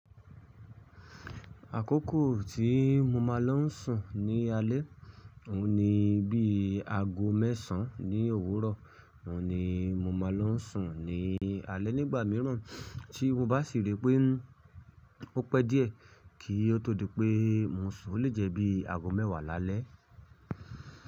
Àkókò tí mo máa ń lọ sùn ní alé, òun ni bí aago mẹ́sàn án ní òwúrọ̀, òun ni mo máa ń lọ sùn ní alé nígbà mìíràn tí mo bá sì rí pé ó pẹ́ díẹ̀, kì o tó di pé mo sùn lè jẹ̀ bíi aago mẹ́wàá lálẹ́.